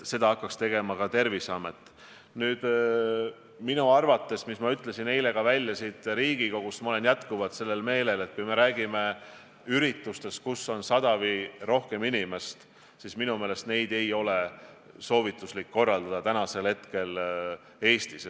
Nagu ma eile siin Riigikogus ütlesin, ma olen jätkuvalt seda meelt, et kui me räägime üritustest, kus on 100 või rohkem inimest, siis neid ei ole soovituslik praegu Eestis korraldada.